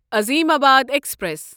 Azimabad express